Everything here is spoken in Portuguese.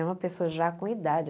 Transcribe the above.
É uma pessoa já com idade.